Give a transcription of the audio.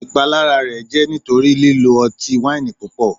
Ipalara rẹ jẹ nitori lilo ọti-waini pupọ